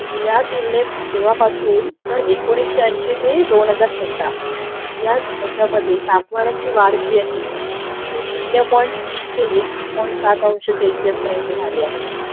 या तुलने तेंव्हापासून तर एकोणीशे ऐशी ते दोन हजार सतरा या याच्यामध्ये तापमानाची वाढ जी आहे ती शून्य पॉईंट तीन ते एक पॉईंट सात अंश सेल्सिअस पर्यंत झालेली आहे